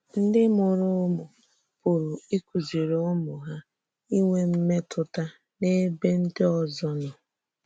Ndị mụrụ̀ ǔmụ̀ pụ̀rụ̀ ịkụ̀zìrì ǔmụ̀ hà ínwè m̀mètùtà n’ebe ndị òzò nọ.